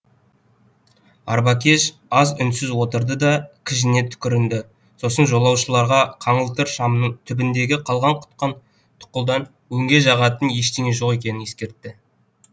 арбакеш аз үнсіз отырды да кіжіне түкірінді сосын жолаушыларға қаңылтыр шамның түбіндегі қалған құтқан тұқылдан өңге жағатын ештеңе жоқ екенін ескертті